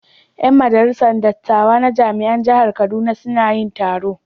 Yan majalisar dattawa na jami'an jihar Kaduna suna yin taro.